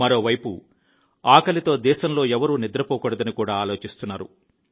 మరోవైపు ఆకలితో దేశంలో ఎవరూ నిద్రపోకూడదని కూడా ఆలోచిస్తున్నారు